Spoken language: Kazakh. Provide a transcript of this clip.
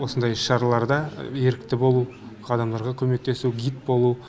осындай іс шараларда ерікті болу адамдарға көмектесу гид болу